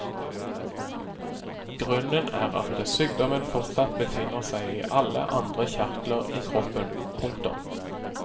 Grunnen er at sykdommen fortsatt befinner seg i alle andre kjertler i kroppen. punktum